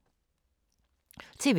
TV 2